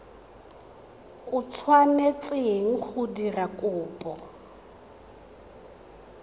o tshwanetseng go dira kopo